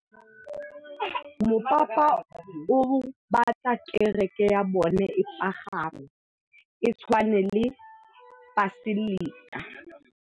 Mopapa o batla kereke ya bone e pagame, e tshwane le paselika.